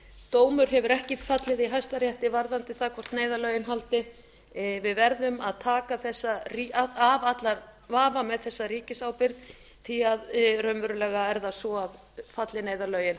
dómur hefur ekki fallið í hæstarétti varðandi það hvort neyðarlögin haldi við verðum að taka af allan vafa með þessa ríkisábyrgð því að raunverulega er það svo að falli neyðarlögin